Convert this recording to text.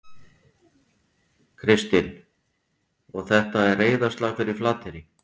Kristinn: Og þetta er reiðarslag fyrir Flateyri?